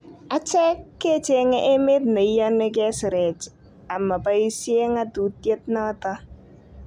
Achek ke chenge emet ne iyoni ke sirech ama baisye ng' atutiet noto